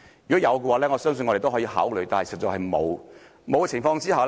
若容許，我相信我們都可以考慮，但實在是不容許。